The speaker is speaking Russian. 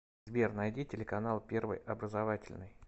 сбер найди телеканал первый образовательный